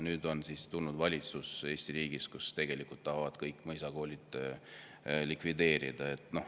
Nüüd on Eesti riigis valitsus, kes tegelikult tahab kõik mõisakoolid likvideerida.